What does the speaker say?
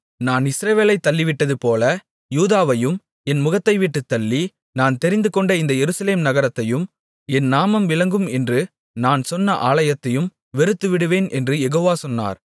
நான் இஸ்ரவேலைத் தள்ளிவிட்டதுபோல யூதாவையும் என் முகத்தைவிட்டுத் தள்ளி நான் தெரிந்துகொண்ட இந்த எருசலேம் நகரத்தையும் என் நாமம் விளங்கும் என்று நான் சொன்ன ஆலயத்தையும் வெறுத்துவிடுவேன் என்று யெகோவா சொன்னார்